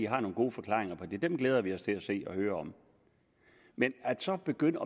har nogle gode forklaringer på det og dem glæder vi os til at høre om men så begynder